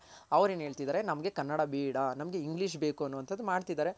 ಅವ್ರ್ ಏನ್ ಹೇಳ್ತಿದಾರೆ ನಮ್ಗೆ ಕನ್ನಡ ಬೇಡ ನಮ್ಗೆ english ಬೇಕು ಅನ್ನೋದು ಮಾಡ್ತಿದಾರೆ.